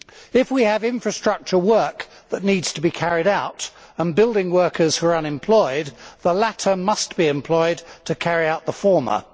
If we have infrastructure work that needs to be carried out, and building workers who are unemployed, the latter must be employed to carry out the former.